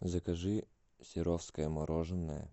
закажи серовское мороженое